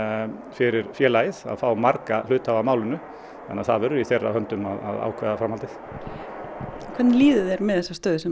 fyrir félagið að fá marga hluthafa að málinu þannig að það verður í þeirra höndum að ákveða framhaldið hvernig líður þér með þessa stöðu sem